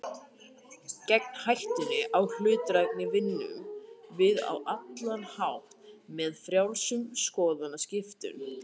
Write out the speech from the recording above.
Gegn hættunni á hlutdrægni vinnum við á allt annan hátt, með frjálsum skoðanaskiptum.